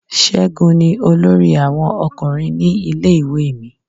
Ségun ni olórí àwọn ọkùnrin ní ilé-ìwé mi.